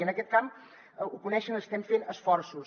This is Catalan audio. i en aquest camp ho coneixen estem fent esforços